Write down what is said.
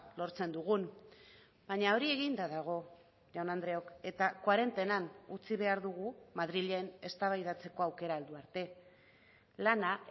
lortzen dugun baina hori eginda dago jaun andreok eta kuarentenan utzi behar dugu madrilen eztabaidatzeko aukera heldu arte lana